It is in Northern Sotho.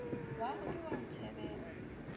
wa go ke wa ntshebela